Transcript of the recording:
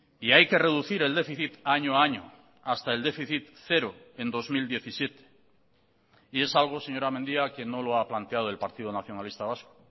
y hay que reducir el déficit año a año hasta el déficit cero en dos mil diecisiete y es algo señora mendía que no lo ha planteado el partido nacionalista vasco